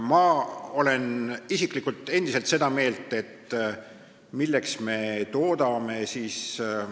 Ma olen isiklikult endiselt seda meelt, et milleks me toodame siis neid ...